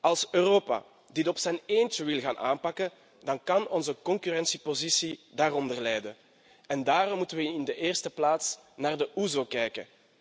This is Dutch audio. Als Europa dit op zijn eentje wil gaan aanpakken, dan kan onze concurrentiepositie daaronder lijden en daarom moeten we in de eerste plaats naar de OESO kijken.